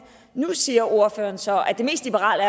nu siger ordføreren så at det mest liberale